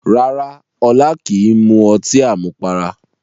Rárá Ọlá kìí mu ọtí àmupara